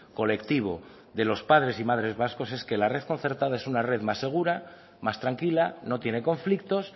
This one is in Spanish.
colectivo de los padres y madres vascos es que la red concertada es una red más segura más tranquila no tiene conflictos